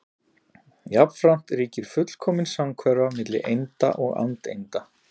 Jafnframt ríkir fullkomin samhverfa milli einda og andeinda.